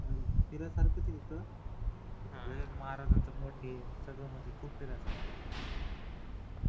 फिरायसारखंच आहे इथं महाराजांचा मठ आहे सगळं म्हणजे खूप फिरायसारखं तिथे